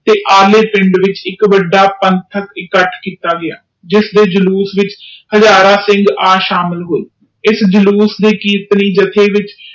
ਤੇ ਅਲੈਪਿੰਡ ਵਿਚ ਇਕ ਇਕੱਠ ਕੀਤਾ ਜਿਸਦੇ ਜਲੂਸ ਚ ਹਜ਼ਾਰਾਂ ਸਿੱਖ ਓਥੇ ਪੌਂਚੇ ਇਸ ਜਲੂਸ ਦੇ ਕੀਰਤਨੀ ਵਿਚ